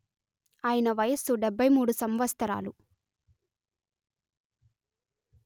ఆయన వయస్సు డెబ్బై మూడు సంవత్సరాలు